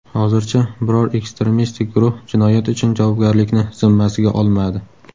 Hozircha biror ekstremistik guruh jinoyat uchun javobgarlikni zimmasiga olmadi.